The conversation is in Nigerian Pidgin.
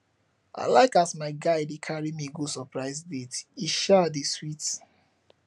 i like as my guy dey carry me go surprise dates e um dey sweet